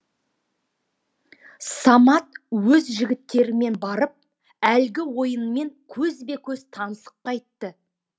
самат өз жігіттерімен барып әлгі ойынмен көзбе көз танысып қайтты